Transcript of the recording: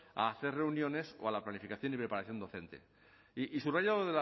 a hacer reuniones o a la planificación y preparación docente y subrayo